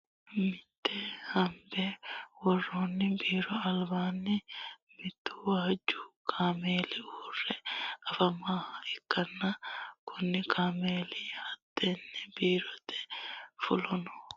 mitte hoonbe woroonni biiro alibaani muttu waaju kameeli uure afamanoha ikanna kunni kameeli hattenne biroonni fulano manna darguni dariga iilishate walichoho uure agare afamanno.